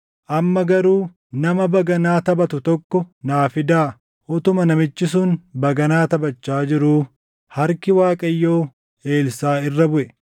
Amma garuu nama baganaa taphatu tokko naa fidaa.” Utuma namichi sun baganaa taphachaa jiruu harki Waaqayyoo Elsaaʼi irra buʼe;